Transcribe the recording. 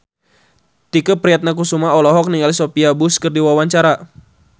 Tike Priatnakusuma olohok ningali Sophia Bush keur diwawancara